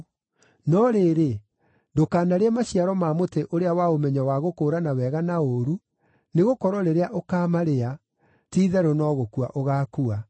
no rĩrĩ, ndũkanarĩe maciaro ma mũtĩ ũrĩa wa ũmenyo wa gũkũũrana wega na ũũru, nĩgũkorwo rĩrĩa ũkaamarĩa, ti-itherũ no gũkua ũgaakua.”